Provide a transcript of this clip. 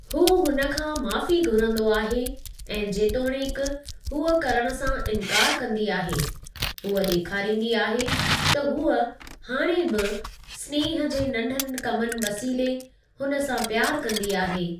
हू हुन खां माफ़ी घुरंदो आहे, ऐं जेतोणीकि हूअ करणु सां इनकार कंदी आहे, हूअ डे॒खारिंदी आहे त हूअ हाणे बि स्नेह जे नंढनि कमनि वसीले हुन सां प्यार कंदी आहे ।